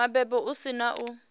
mabebo hu si na u